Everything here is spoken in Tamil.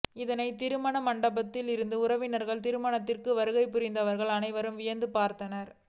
இதனை திருமண மண்டபத்தில் இருந்த உறவினர்கள் திருமணத்திற்கு வருகை புரிந்தவர்கள் அனைவரும் வியந்து பார்த்தனர்